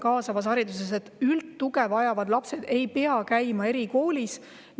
Kaasava hariduse põhijoon ongi see, et üldtuge vajavad lapsed ei pea käima erikoolis.